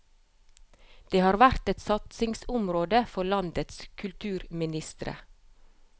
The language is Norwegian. Det har vært et satsingsområde for landenes kulturministre.